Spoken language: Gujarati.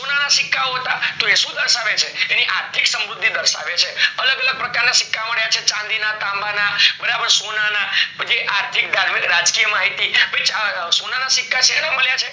સોનાના સિક્કાઓ હતા તો એ સુ દર્શાવે છે તો એ આર્થીક સમૃધી દર્શાવે છે. અલગ અલગ પ્રકારના સિક્કા માળિયા છે, ચાંદી ના, તાંબા ના, બરાબર સોનાના, પછી આર્થીક ધાર્મિક રાજ્ય માહિતી સોનાના સિક્કા સેમા મળ્યા છે